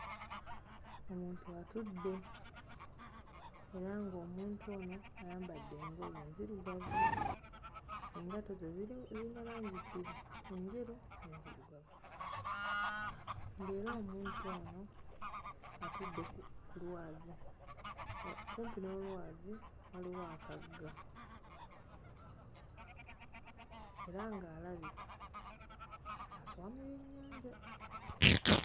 Omuntu atudde era ng'omuntu ono ayambadde engoye enzirugavu, engatto ze ziri ziyina langi bbiri enjeru n'enzirugavu, ng'era omuntu ono atudde ku ku lwazi kumpi n'olwazi waliwo akagga era ng'alabika aswamye byennyanja.